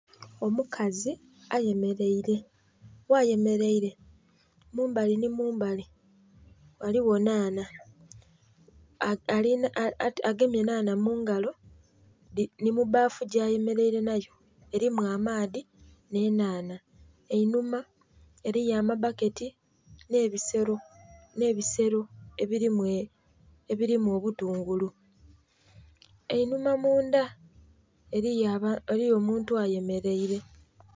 Omukazi eyemereire, ghayemereire mumbali nhi mumbali ghaligho nhanha agemye nhanha mungalo nhi mubaafu gya ayemereire nha yo mulimu amaadhi nhi enhanha. Einhuma eriyo amabaketi nhe bisero ebirimu obutungulu, einhuma mundha eriyo omuntu ayemereire.